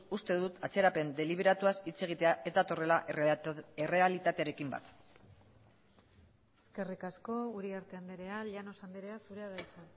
uste dut atzerapen deliberatuaz hitz egitea ez datorrela errealitatearekin bat eskerrik asko uriarte andrea llanos andrea zurea da hitza